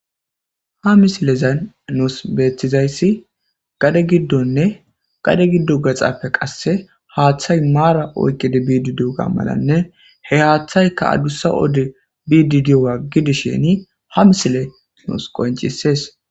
Ha misilezan nuusu beetizayssi gade giddonne gade giddozan gaxape qasse haaththe maaran duge simmidi goggishe dizayssa bessees.